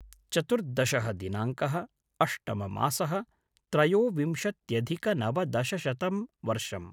चतुर्दशः दिनाङ्कः-अष्टमः मासः-त्रयोविंशत्यधिकनवदशशतं वर्षम्